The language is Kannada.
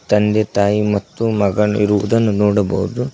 ತಂದೆ ತಾಯಿ ಮತ್ತು ಮಗನಿರುವುದನ್ನು ನೋಡಬಹುದು.